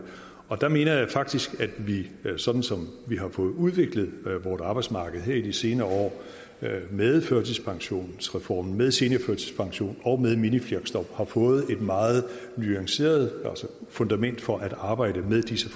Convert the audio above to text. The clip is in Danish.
der mener jeg faktisk at vi sådan som vi har fået udviklet vores arbejdsmarked her i de senere år med førtidspensionsreform med seniorførtidspension og med minifleksjob har fået et meget nuanceret fundament for at arbejde med disse